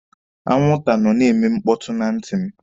Anwụnta nọ na-eme mkpọtụ na ntị m.